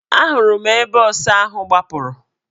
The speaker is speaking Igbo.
A hụrụ m mgbe ọsa ahụ gbapụrụ.